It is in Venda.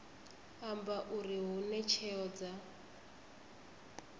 amba uri hune tsheo dza